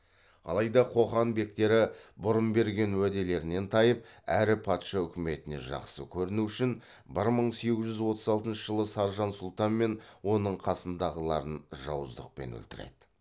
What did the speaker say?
алайда қоқан бектері бұрын берген уәделерінен тайып әрі патша үкіметіне жақсы көріну үшін бір мың сегіз жүз отыз алтыншы жылы саржан сұлтан мен оның қасындағыларын жауыздықпен өлтіреді